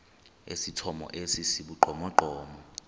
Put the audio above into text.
esithomo esi sibugqomogqomo